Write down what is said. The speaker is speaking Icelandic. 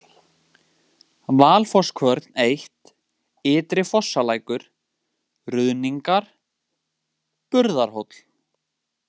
Valsfosskvörn I, Ytri-Fosslækur, Ruðningar, Burðarhóll